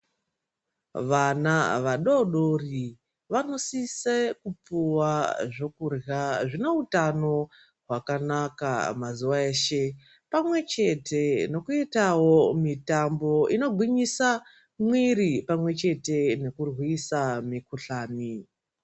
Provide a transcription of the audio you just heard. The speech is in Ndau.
Vana vadoodori vanosise kupuwa zvokurya zvineutano hwakanaka mazuwa eshe pamwechete nekuitawo mitambo inogwinyisa mwiiri pamwechete nekurwisa mikhuhlani.